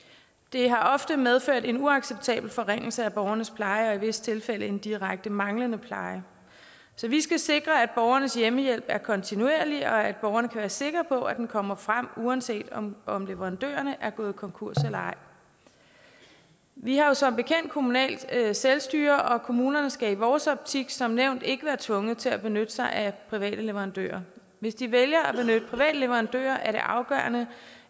det har ofte medført en uacceptabel forringelse af borgernes pleje og i visse tilfælde en direkte manglende pleje så vi skal sikre at borgernes hjemmehjælp er kontinuerlig og at borgerne kan være sikre på at den kommer frem uanset om om leverandørerne er gået konkurs eller ej vi har jo som bekendt kommunalt selvstyre og kommunerne skal i vores optik som nævnt ikke være tvunget til at benytte sig af private leverandører hvis de vælger at benytte private leverandører er det er afgørende